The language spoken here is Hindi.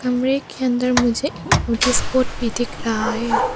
कमरे के अंदर मुझे नोटिस बोर्ड भी दिख रहा है।